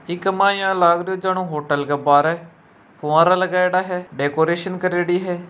ऐक माइन इया लगरो है होटल के बार फवारा लागेड़ा है डेकोरेशन करेड़ी है।